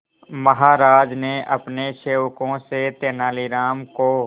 महाराज ने अपने सेवकों से तेनालीराम को